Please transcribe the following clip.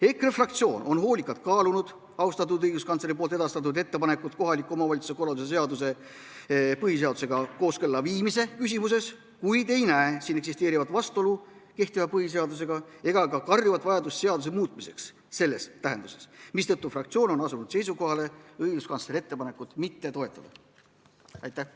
EKRE fraktsioon on hoolikalt kaalunud austatud õiguskantsleri edastatud ettepanekut kohaliku omavalitsuse korralduse seaduse põhiseadusega kooskõlla viimise küsimuses, kuid ei näe siin eksisteerivat vastuolu kehtiva põhiseadusega ega ka karjuvat vajadust seaduse muutmiseks selles tähenduses, mistõttu fraktsioon on asunud seisukohale õiguskantsleri ettepanekut mitte toetada.